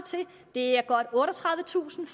det er godt otteogtredivetusind